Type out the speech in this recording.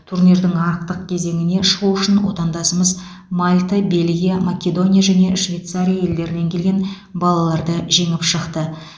турнирдің ақтық кезеңіне шығу үшін отандасымыз мальта бельгия македония және швейцария елдерінен келген балаларды жеңіп шықты